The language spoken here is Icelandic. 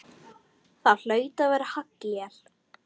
Það hlaut að vera haglél!